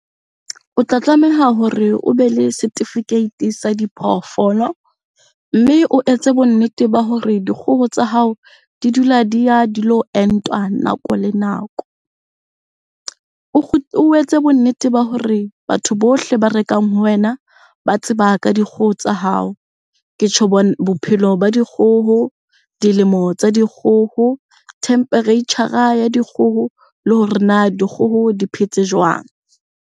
O tla tlameha hore o be le certificate sa diphoofolo mme o etse bonnete ba hore dikgoho tsa hao di dula di ya dilo entwa nako le nako. O etse bonnete ba hore batho bohle ba rekang ho wena ba tseba ka dikgoho tsa hao. Ke tjho bophelo ba dikgoho, dilemo tsa dikgoho, temperature-ra ya dikgoho le hore na dikgoho di phetse jwang?